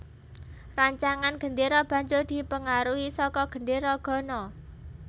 Rancangan gendéra banjur dipengaruhi saka Gendéra Ghana